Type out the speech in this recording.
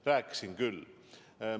Rääkisin küll!